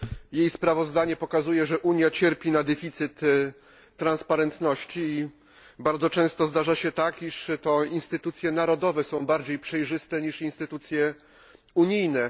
Jej sprawozdanie pokazuje, że Unia cierpi na deficyt transparentności i bardzo często zdarza się tak, że to instytucje narodowe są bardziej przejrzyste niż instytucje unijne.